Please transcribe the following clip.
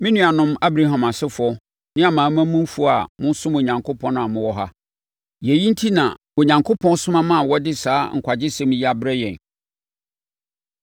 “Me nuanom Abraham asefoɔ ne amanamanmufoɔ a mosom Onyankopɔn a mowɔ ha, yɛn enti na Onyankopɔn soma maa wɔde saa nkwagyesɛm yi abrɛ yɛn.